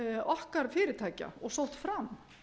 okkar fyrirtækja og sótt fram